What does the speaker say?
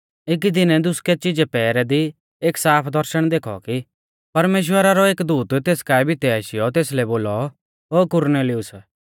एकी दिनै दुसकै चिजै पैहरै दी एक साफ दर्शण देखौ कि परमेश्‍वरा रौ एक दूत तेस काऐ भितै आशीयौ तेसलै बोलौ ओ कुरनेलियुस